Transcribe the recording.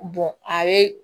a bɛ